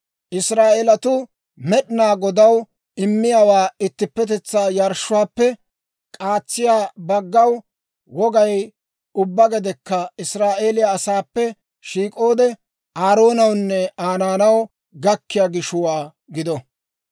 Israa'eelatuu Med'inaa Godaw immiyaa ittippetetsaa yarshshuwaappe k'aatsiyaa baggaw wogay, ubbaa gedekka Israa'eeliyaa asaappe shiik'oode Aaroonawunne Aa naanaw gakkiyaa gishuwaa gido.